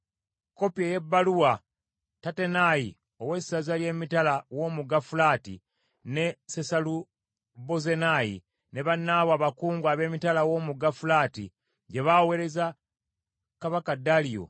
Kopi ey’ebbaluwa Tattenayi ow’essaza ly’emitala w’omugga Fulaati, ne Sesalubozenayi ne bannaabwe abakungu ab’emitala w’omugga Fulaati gye baaweereza Kabaka Daliyo,